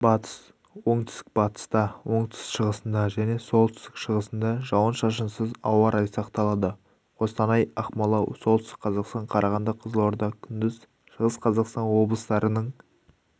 батыс оңтүстік-батыста оңтүстік-шығысында және солтүстік-шығысында жауын-шашынсыз ауа райы сақталады қостанай ақмола солтүстік қазақстан қарағанды қызылорда күндіз шығыс-қазақстан облыстарының